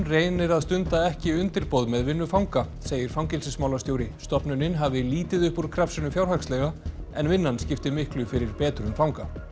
reynir að stunda ekki undirboð með vinnu fanga segir fangelsismálastjóri stofnunin hafi lítið upp úr krafsinu fjárhagslega en vinnan skipti miklu fyrir betrun fanga